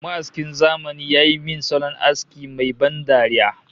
Ma'askin zamani ya yi min salon aski mai ban dariya